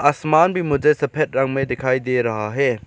आसमान भी मुझे सफेद रंग में दिखाई दे रहा है।